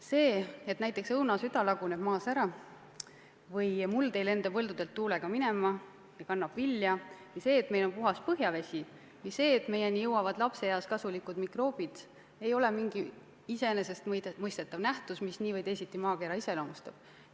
See, et näiteks õunasüda laguneb maas ära või et muld ei lenda põldudelt tuulega minema ja kannab vilja, või see, et meil on puhas põhjavesi, või see, et meieni jõuavad lapseeas kasulikud mikroobid, ei ole mingi iseenesestmõistetav nähtus, mis nii või teisiti maakera iseloomustab.